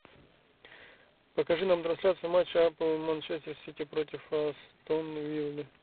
покажи нам трансляцию матча апл манчестер сити против астон виллы